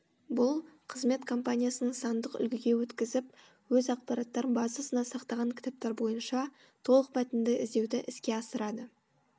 бұл қызмет компаниясының сандық үлгіге өткізіп өз ақпараттар базасына сақтаған кітаптар бойынша толықмәтінді іздеуді іске асырады